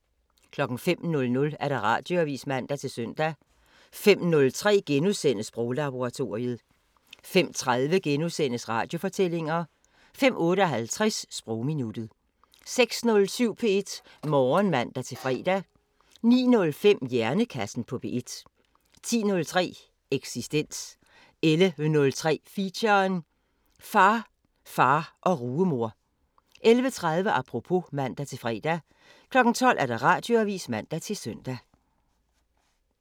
05:00: Radioavisen (man-søn) 05:03: Sproglaboratoriet * 05:30: Radiofortællinger * 05:58: Sprogminuttet 06:07: P1 Morgen (man-fre) 09:05: Hjernekassen på P1 10:03: Eksistens 11:03: Feature: Far, far og rugemor 11:30: Apropos (man-fre) 12:00: Radioavisen (man-søn)